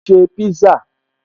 Mò ń ṣe pízá